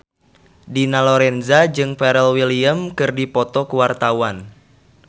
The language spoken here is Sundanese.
Dina Lorenza jeung Pharrell Williams keur dipoto ku wartawan